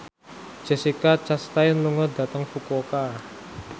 Jessica Chastain lunga dhateng Fukuoka